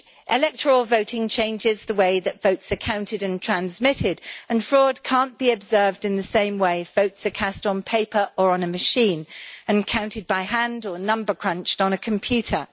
Electoral voting changes the way that votes are counted and transmitted, and fraud cannot be observed in the same way if votes are cast on paper or on a machine, and counted by hand or number crunched on a computer.